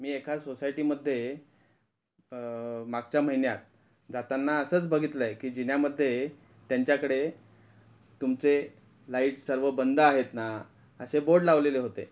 मी एका सोसायटीमध्ये अ मागच्या महिन्यात जाताना असंच बघितल आहे की जिन्यामध्ये त्यांच्याकडे तुमचे लाइट सर्व बंद आहेत ना असे बोर्ड लावलेले होते.